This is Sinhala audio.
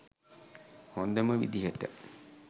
හොදම විදිහට